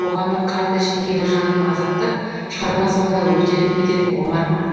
қоғамның қанды шеңгелі жанын азаптап шығарма соңында өртеніп кететін омар ма